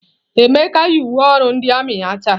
Emeka yi uwe ọrụ ndị armiị ya taa?